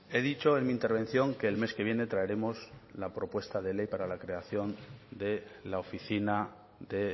he dicho en mi intervención que el mes que viene traeremos la propuesta de ley para la creación de la oficina de